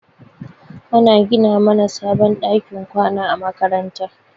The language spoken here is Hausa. Ana gina mana sabon ɗakin kwana a makaranta.